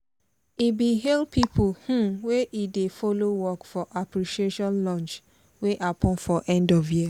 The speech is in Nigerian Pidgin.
he bin hail people um wey he dey follow work for the appreciation-lunch wey happen for end of year.